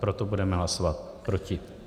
Proto budeme hlasovat proti.